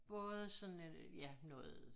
Både sådan øh ja noget